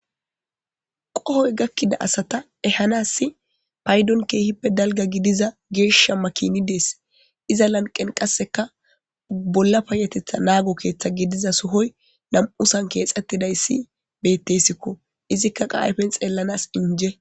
Qohoy gakkida asata ehanassi paydon keehippe dalga gidiza geeshshamma kini dees iza lanqen qasseka bolla payetetha naago keeththa gidiza sohoy lam'usan keexettidayssi bettesikko izikka qaayfen xeellanas inje